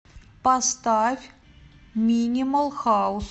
поставь минимал хаус